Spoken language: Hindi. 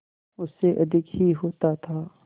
उससे अधिक ही होता था